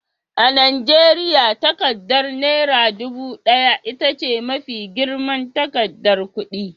A Najeriya, takardar Naira ɗubu ɗaya ita ce mafi girman takardar kudi.